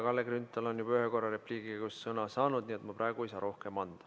Kalle Grünthal on juba ühe korra repliigi käigus sõna saanud, nii et ma praegu ei saa rohkem anda.